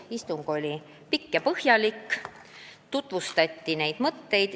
Istung oli pikk ja põhjalik.